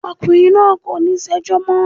Ọkùnrin náà kò ní ṣẹjọ́ mọ́.